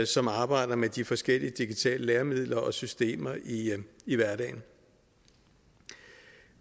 som arbejder med de forskellige digitale læringsmidler og systemer i hverdagen